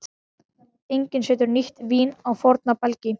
Enginn setur nýtt vín á forna belgi.